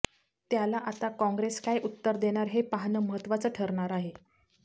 त्याला आता काँग्रेस काय उत्तर देणार हे पाहणं महत्त्वाचं ठरणार आहे